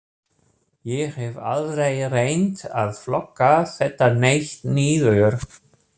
Ég hef aldrei reynt að flokka þetta neitt niður.